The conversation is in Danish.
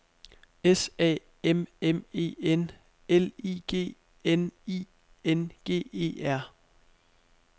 S A M M E N L I G N I N G E R